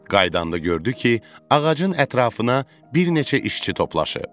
Qayıdanda gördü ki, ağacın ətrafına bir neçə işçi toplaşıb.